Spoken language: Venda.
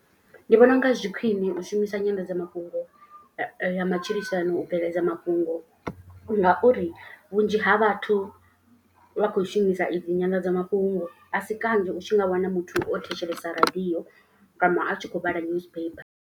Ndi vhona unga zwi khwiṋe u shumisa nyanḓadzamafhungo ya matshilisano u bveledza mafhungo. Ngauri vhunzhi ha vhathu vha khou shumisa idzi nyanḓadzamafhungo. A si kanzhi u tshi nga wana muthu o thetshelesa radio kana a tshi khou vhala newspaper.